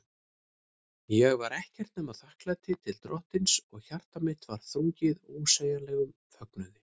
Ég var ekkert nema þakklæti til Drottins, og hjarta mitt var þrungið ósegjanlegum fögnuði.